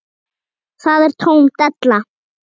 Það er tóm della.